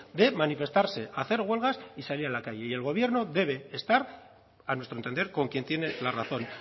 de manifestarse hacer huelgas y salir a la calle y el gobierno debe estar a nuestro entender con quién tiene la razón